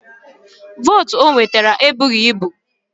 Vootu o nwetara ebughi ibu